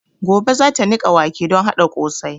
Gobe zata niƙa wake don haɗa ƙosai